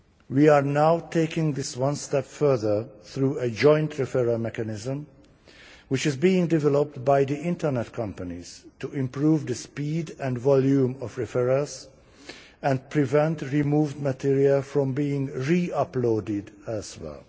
We are now taking this one step further through a joint referral mechanism which is being developed by the internet companies to improve the speed and volume of referrals and prevent removed material from being re uploaded elsewhere.